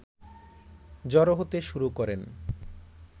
জড়ো হতে শুরু করেন